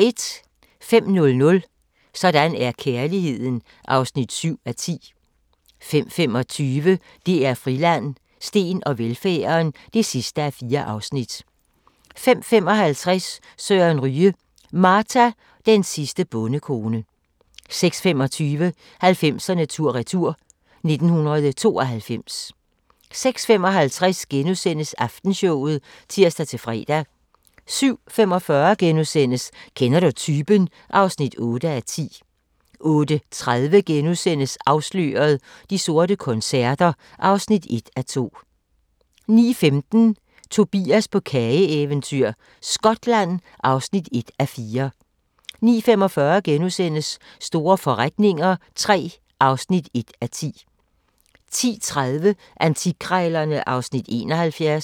05:00: Sådan er kærligheden (7:10) 05:25: DR Friland: Steen og velfærden (4:4) 05:55: Søren Ryge: Marta, den sidste bondekone 06:25: 90'erne tur-retur: 1992 06:55: Aftenshowet *(tir-fre) 07:45: Kender du typen? (8:10)* 08:30: Afsløret – De sorte koncerter (1:2)* 09:15: Tobias på kageeventyr – Skotland (1:4) 09:45: Store forretninger III (1:10)* 10:30: Antikkrejlerne (Afs. 71)